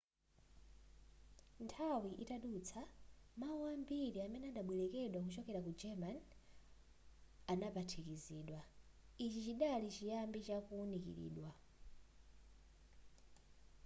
nthawi itadutsa mawu ambiri amene adabwelekedwa kuchokera ku german adaphatikizidwa ichi chidali chiyambi cha kuwunikilidwa